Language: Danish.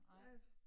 Nej